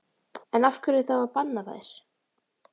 En af hverju þá að banna þær?